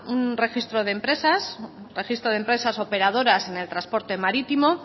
un registro de empresas un registro de empresas operadoras en el transporte marítimo